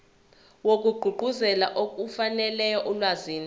wokugqugquzela ukufinyelela olwazini